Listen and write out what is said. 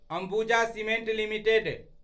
Ambuja cements limited